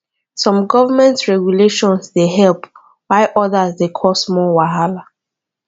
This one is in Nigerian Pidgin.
some government regulations dey help while odas dey cause more wahala